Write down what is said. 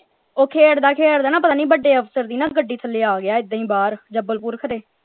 ਉਹ ਖੇਡਦਾ ਖੇਡਦਾ ਨਾ ਪਤਾ ਨਹੀਂ ਬੜੇ ਅਫਸਰ ਦੀ ਨਾ ਗੜੀ ਥਲੇ ਆ ਗਿਆ ਏਦਾਂ ਹੀ ਬਾਹਰ ਜਬਲਪੁਰ ਖ਼ਰੇ।